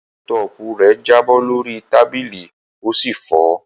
Lápútọ́ọ̀pù rẹ̀ jábọ́ lórí tábìlì ó sì fọ́.